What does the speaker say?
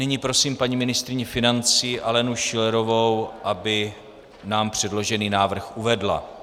Nyní prosím paní ministryni financí Alenu Schillerovou, aby nám předložený návrh uvedla.